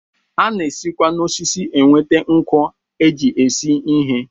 A na-esikwa n'osisi enweta nkụ e ji esi ihe